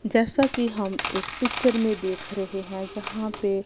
जैसा कि हम इस पिक्चर में देख रहे हैं जहां पे--